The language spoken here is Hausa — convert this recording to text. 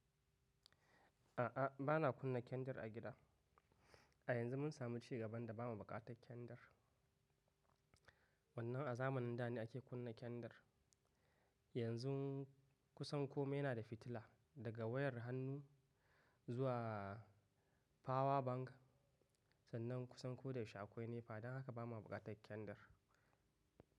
A'a, ba na kunna kendir a gida. A yanzu mun sami cigaban da ba mu buƙatar kendir. Wannnan a zamanin da ne ake kunna kendir. Yanzun kusan kome yana da fitila, daga wayar hannu zuwa fawa bank. Sannan kusan ko da yaushe akwai NEPA don haka ba mu buƙatar kendir.